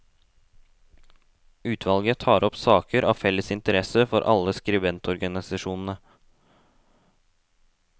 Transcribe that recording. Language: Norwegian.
Utvalget tar opp saker av felles interesse for alle skribenterorganisasjonene.